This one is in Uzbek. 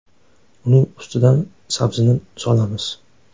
Uning ustidan sabzini solamiz.